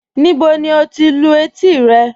Níbò ni o lú ètí rẹ?